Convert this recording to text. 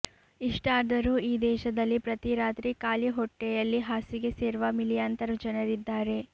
ಇಷ್ಟಾದರೂ ಈ ದೇಶದಲ್ಲಿ ಪ್ರತೀರಾತ್ರಿ ಖಾಲಿ ಹೊಟ್ಟೆಯಲ್ಲಿ ಹಾಸಿಗೆ ಸೇರುವ ಮಿಲಿಯಾಂತರ ಜನರಿದ್ದಾರೆ